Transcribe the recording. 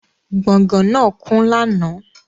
Gbọ̀gán náà kún lánàá